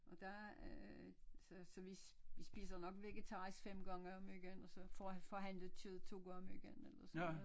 Og der øh så så vi spiser nok vegetarisk 5 gange om ugen og så får han forhandlet kød 2 gange om ugen eller sådan noget